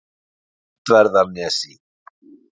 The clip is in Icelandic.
Öndverðarnesi